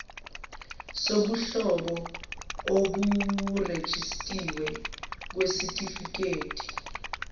sobuhlobo oseburejistiwe kwisitifiketi